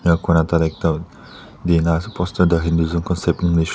enka kurina tai la ekta dina ase poster tu